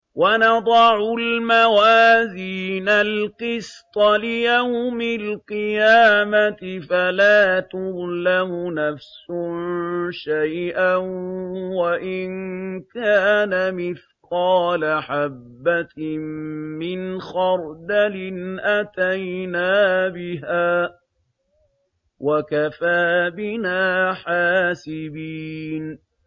وَنَضَعُ الْمَوَازِينَ الْقِسْطَ لِيَوْمِ الْقِيَامَةِ فَلَا تُظْلَمُ نَفْسٌ شَيْئًا ۖ وَإِن كَانَ مِثْقَالَ حَبَّةٍ مِّنْ خَرْدَلٍ أَتَيْنَا بِهَا ۗ وَكَفَىٰ بِنَا حَاسِبِينَ